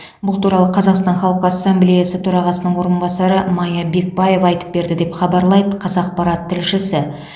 бұл туралы қазақстан халқы ассамблеясы төрағасының орынбасары мая бекбаева айтып берді деп хабарлайды қазапарат тілшісі